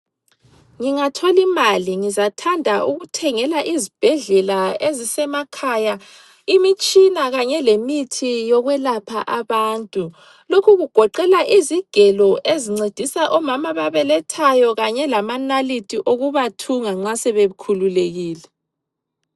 Ngingatholimali ngizathanda ukuthengela izibhedlela ezisemakhaya imitshina kanye lemithi yokulapha abantu. Lokhu kugoqela izigelo ezincedisa omama ababelethayo kanye lamanalithi okubathunga nxa sebekhululekile.